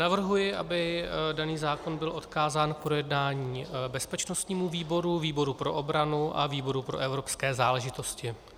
Navrhuji, aby daný zákon byl odkázán k projednání bezpečnostnímu výboru, výboru pro obranu a výboru pro evropské záležitosti.